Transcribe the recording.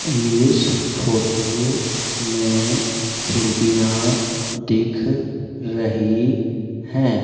इस फोटो में खिड़कियां दिख रही है।